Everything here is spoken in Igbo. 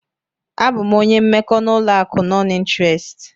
Abụ m onye mmekọ n'ụlọ akụ nọn ịnterest.